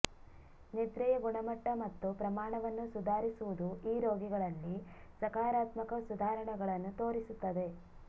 ನಿದ್ರೆಯ ಗುಣಮಟ್ಟ ಮತ್ತು ಪ್ರಮಾಣವನ್ನು ಸುಧಾರಿಸುವುದು ಈ ರೋಗಿಗಳಲ್ಲಿ ಸಕಾರಾತ್ಮಕ ಸುಧಾರಣೆಗಳನ್ನು ತೋರಿಸುತ್ತದೆ